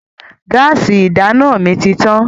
Gáásì ìdáná mi ti tán.